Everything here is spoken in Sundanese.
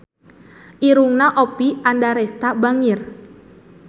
Irungna Oppie Andaresta bangir